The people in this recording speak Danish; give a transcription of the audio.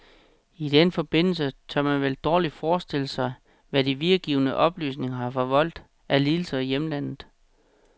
I den forbindelse tør man vel dårligt forestille sig, hvad de videregivne oplysninger har forvoldt af lidelser i hjemlandet.